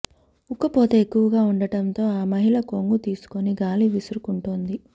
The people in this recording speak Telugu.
ఉక్కపోత ఎక్కవగా వుండటంతో ఆ మహిళ కొంగు తీసుకుని గాలి విసురుకుంటోంది